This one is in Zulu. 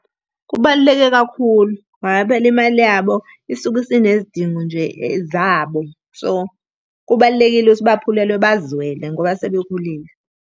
Kubaluleke kakhulu, ngoba phela imali yabo isuke isinezidingo nje zabo. So, kubalulekile ukuthi baphulelwe bazwelwe ngoba sebekhulile.